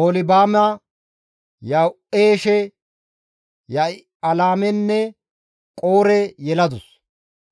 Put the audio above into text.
Oholibaame Ya7uushe, Ya7ilaamenne Qoore yeladus;